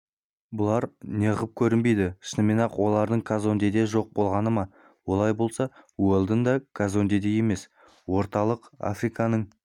бұлар неғып көрінбейді шынымен-ақ олардың казондеде жоқ болғаны ма олай болса уэлдон да казондеде емес орталық африканың